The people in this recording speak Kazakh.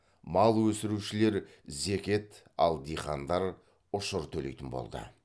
мал өсірушілер зекет ал диқандар ұшыр төлейтін болды